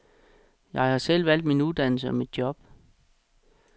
Jeg har selv valgt min uddannelse og mit job.